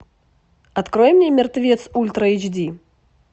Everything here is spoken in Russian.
открой мне мертвец ультра эйч ди